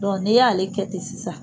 n'i y'a ale kɛ ten sisan